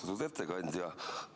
Austatud ettekandja!